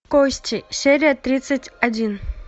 кости серия тридцать один